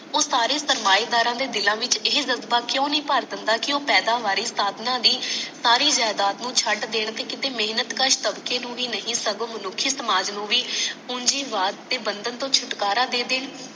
ਉਹ ਸਾਰੇ ਸਲਮਾਏਦਾਰਾਂ ਦੇ ਦਿਲਾਂ ਵਿੱਚ ਇਹ ਜਜਬਾ ਕਿਓਂ ਨਹੀਂ ਭਰ ਦਿੰਦਾ ਕਿ ਉਹ ਪਹਿਲਾਂ ਵਾਲੀ ਸਾਦਨਾ ਦੀ ਸਾਰੀ ਜਾਇਦਾਦ ਨੂੰ ਛੱਡ ਦੇਣ ਤੇ ਕਿਸੇ ਮਿਹਨਤਕਸ਼ ਤਬਕੇ ਨੂੰ ਭੀ ਨਹੀਂ ਸਬ ਮਨੁੱਖੀ ਸਮਾਜ ਨੂੰ ਭੀ ਪੂੰਜੀਬਾਦ ਤੇ ਬੰਦਨ ਤੋਂ ਛੁਟਕਾਰਾ ਦੇ ਦੇਵੇ